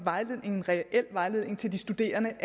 er en reel vejledning til de studerende